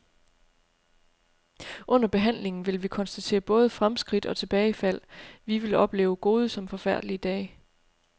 Under behandlingen vil vi konstatere både fremskridt og tilbagefald, vi vil opleve gode som forfærdelige dage.